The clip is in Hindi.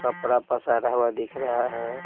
कपड़ा पसारा हुआ दिख रहा है।